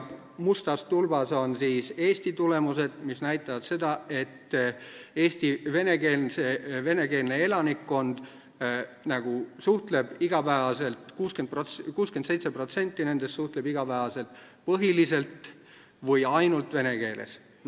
Mustas tulbas on Eesti tulemused, mis näitavad seda, et Eesti venekeelsest elanikkonnast 67% suhtleb iga päev põhiliselt või ainult vene keeles.